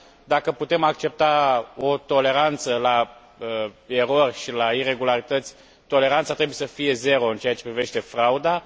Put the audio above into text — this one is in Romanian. Dacă putem accepta o toleranță la erori și la iregularități, toleranța trebuie să fie zero în ceea ce privește frauda.